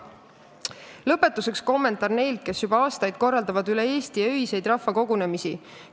Lõpetuseks kommentaar neilt, kes juba aastaid üle Eesti öiseid rahvakogunemisi korraldavaid.